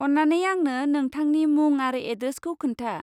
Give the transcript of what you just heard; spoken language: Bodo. अन्नानै आंनो नोंथांनि मुं आरो एड्रेसखौ खोन्था।